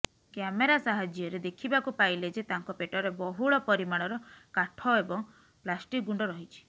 camera ସାହାଯ୍ୟରେ ଦେଖିବାକୁ ପାଇଲେ ଯେ ତାଙ୍କ ପେଟରେ ବହୁଳ ପରିମାଣର କାଠ ଏବଂ ପ୍ଲାଷ୍ଟିକ୍ ଗୁଣ୍ଡ ରହିଛି